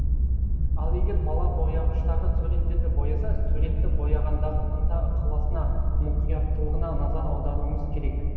ал егер бала бояғыштағы суреттерді бояса суретті бояғандағы ынта ықыласына мұқияттылығына назар аударуымыз керек